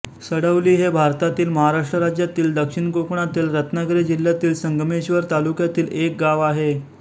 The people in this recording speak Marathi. सडवली हे भारतातील महाराष्ट्र राज्यातील दक्षिण कोकणातील रत्नागिरी जिल्ह्यातील संगमेश्वर तालुक्यातील एक गाव आहे